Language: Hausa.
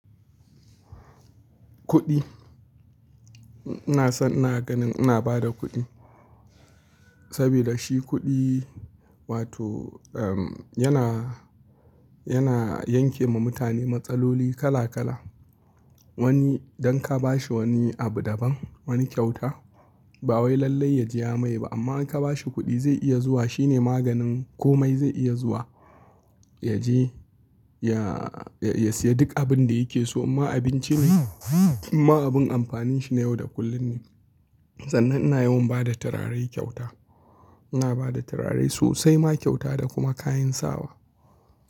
Kuɗi. Ina son ina ganin ina ba da kuɗi saboda shi kuɗi wato yana, yana yanke ma mutane matsaloli kala kala. Wani dan ka ba shi wani abu daban, wani kyauta ba wai lallai ya jiya mai ba amma in ka ba shi kuɗi zai iya zuwa shine maganin komai zai iya zuwa ya je ya, ya siya duk abin da yake so. Inma abinci ne, inma abun amfanin shi na yau da kullum ne. Sannan ina yawan ba da turare kyauta. Ina ba da turare sosai ma kyauta da kuma kayan sawa.